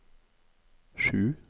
sju